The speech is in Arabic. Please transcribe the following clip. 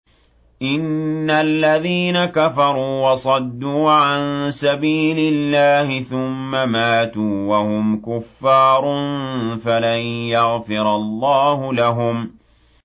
إِنَّ الَّذِينَ كَفَرُوا وَصَدُّوا عَن سَبِيلِ اللَّهِ ثُمَّ مَاتُوا وَهُمْ كُفَّارٌ فَلَن يَغْفِرَ اللَّهُ لَهُمْ